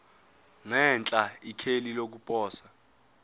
ngenhla ikheli lokuposa